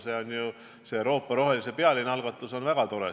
Euroopa rohelise peallinna algatus on väga tore.